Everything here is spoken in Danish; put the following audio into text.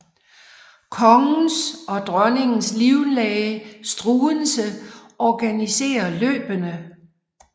Kongens og dronningens livlæge Struensee organisere løbene